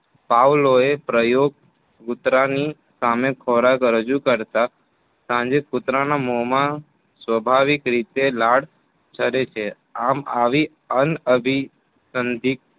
પાવલોએ પ્રયોગ કૂતરાની સામે ખોરાક રજુ કરતા સાંજે કુતરાના મોમાં સ્વાભાવિક રીતે લાળ સરે છે. આમ આવી અનઅભીસંધિક